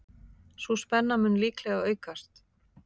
Sú spenna mun líklega aukast.